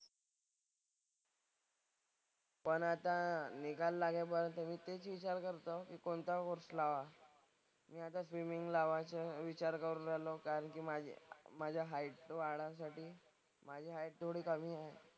पण आता निकाल लागेपर्यंत मी तेच विचार करतो की कोणता कोर्स लावावा. मी आता स्विमिंग लावायचा विचार करून राहिलो कारण की माझी माझ्या हाईटचं वाढीसाठी. माझी हाईट थोडी कमी आहे.